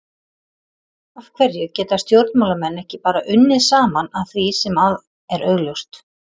Af hverju geta stjórnmálamenn ekki bara unnið saman að því sem að er augljóst?